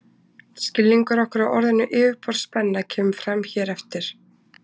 Skilningur okkar á orðinu yfirborðsspenna kemur fram hér á eftir.